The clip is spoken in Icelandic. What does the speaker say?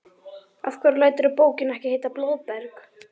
Af hverju læturðu bókina ekki heita Blóðberg?